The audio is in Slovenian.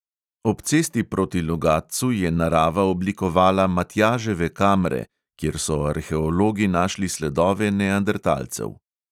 Ob cesti proti logatcu je narava oblikovala matjaževe kamre, kjer so arheologi našli sledove neandertalcev.